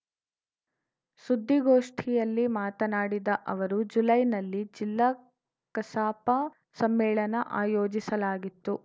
ಸುದ್ದಿಗೋಷ್ಠಿಯಲ್ಲಿ ಮಾತನಾಡಿದ ಅವರು ಜುಲೈನಲ್ಲಿ ಜಿಲ್ಲಾ ಕಸಾಪ ಸಮ್ಮೇಳನ ಆಯೋಜಿಸಲಾಗಿತ್ತು